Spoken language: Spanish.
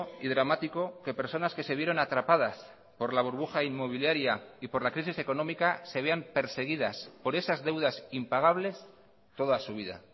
y dramático que personas que se vieron atrapadas por la burbuja inmobiliaria y por la crisis económica se vean perseguidas por esas deudas impagables toda su vida